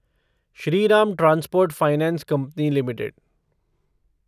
Shriram transport finance company limited